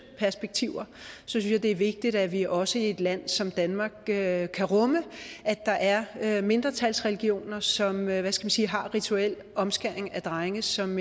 perspektiver synes jeg det er vigtigt at vi også i et land som danmark kan rumme at der er er mindretalsreligioner som hvad skal man sige har rituel omskæring af drenge som